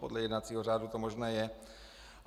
Podle jednacího řádu to možné je.